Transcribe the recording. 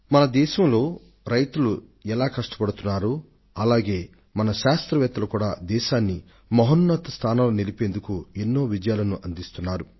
మన దేశంలో శ్రమిస్తున్న రైతుల మాదిరే మన శాస్త్రవేత్తలు కూడా మన దేశాన్ని నూతన శిఖరాలకు చేర్చేందుకు అనేక రంగాలలో విజయాలను అందుకొంటున్నారు